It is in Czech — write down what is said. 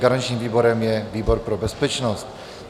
Garančním výborem je výbor pro bezpečnost.